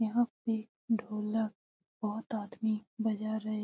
यहाँ पे ढोलक बहुत आदमी बजा रहे।